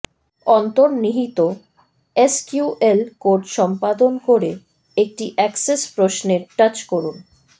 অন্তর্নিহিত SQL code সম্পাদন করে একটি অ্যাক্সেস প্রশ্নের টাচ করুন